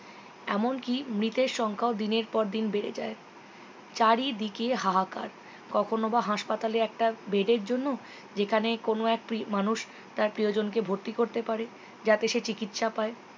এমন কি মৃতের সংখ্যা দিনের পর দিন বেড়ে যায় চারিদিকে হাহাকার কখনও বা হাঁসপাতালে একটা bed এর জন্য যেখানে কোনো একটি মানুষ তার প্রিয়জনকে ভর্তি করতে পারে যাতে সে চিকিৎসা পায়